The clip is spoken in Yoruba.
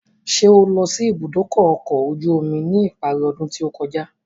Ṣé o lọ sí ìbúdókọ̀ ọ̀kọ̀ ojú omi ní ìparí ọdún tí ó kọjá?